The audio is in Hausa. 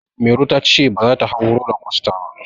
Mairo ta ce baza ta hau roller coaster ba.